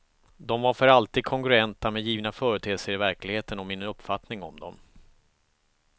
De var för alltid kongruenta med givna företeelser i verkligheten och min uppfattning om dem.